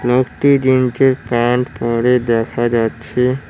একটি জিনছের প্যান্ট পরে দেখা যাচ্ছে।